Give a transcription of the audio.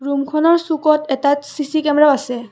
ৰূমখনৰ চুকত এটা CC camera আছে।